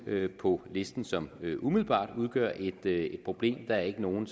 på listen som umiddelbart udgør et problem der er ikke nogen